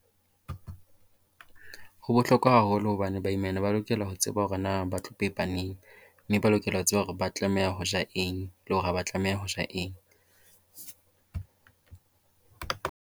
Ho bohlokwa haholo hobane baimana ba lokela ho tseba hore na ba tlo pepa neng, mme ba lokela ho tseba hore ba tlameha ho ja eng le hore ha ba tlameha ho ja eng.